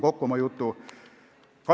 Võtan oma jutu kokku.